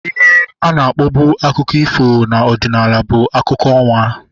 Ihe ana akpọbu akụkọ ifo na ọdịnala bụ akụkọ ọnwa